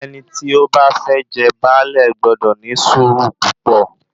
Ẹni tí ó bá fẹ́ jẹ baálé gbọdọ̀ ní sùúrù púpọ̀